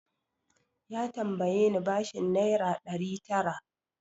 Ya tambaye ni bashin naira ɗari tara.